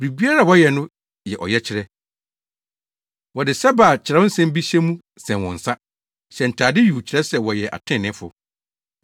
“Biribiara a wɔyɛ no yɛ ɔyɛkyerɛ. Wɔde sɛbɛ a kyerɛw nsɛm bi hyɛ mu sɛn wɔn nsa, hyɛ ntade yuu kyerɛ sɛ wɔyɛ atreneefo.